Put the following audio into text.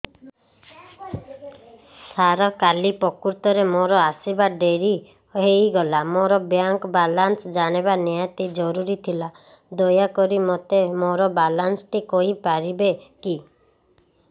ସାର କାଲି ପ୍ରକୃତରେ ମୋର ଆସିବା ଡେରି ହେଇଗଲା ମୋର ବ୍ୟାଙ୍କ ବାଲାନ୍ସ ଜାଣିବା ନିହାତି ଜରୁରୀ ଥିଲା ଦୟାକରି ମୋତେ ମୋର ବାଲାନ୍ସ ଟି କହିପାରିବେକି